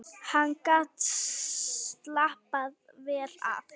Hann gat slappað vel af.